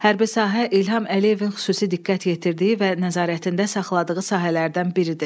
Hərbi sahə İlham Əliyevin xüsusi diqqət yetirdiyi və nəzarətində saxladığı sahələrdən biridir.